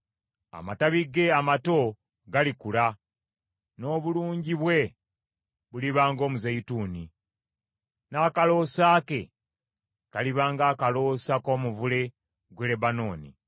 Amatabi ge amato galikula; n’obulungi bwe buliba ng’omuzeyituuni, n’akaloosa ke kaliba ng’akaloosa k’omuvule gw’e Lebanooni.